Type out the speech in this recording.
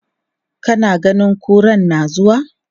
Kana ganin kuran na zuwa?